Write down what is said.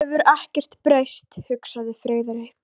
Hann hefur ekkert breyst, hugsaði Friðrik.